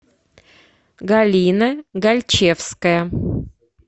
галина гальчевская